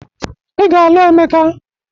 Ị ga-alụ Emeka